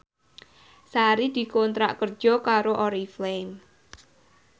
Sari dikontrak kerja karo Oriflame